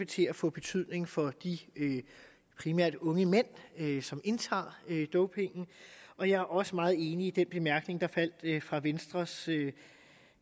til at få betydning for de primært unge mænd som indtager dopingen og jeg er også meget enig i den bemærkning der faldt fra venstres